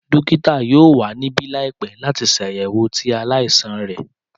Dókítà yoo wa nibi laipẹ lati ṣayẹwo ti alaisan rẹ.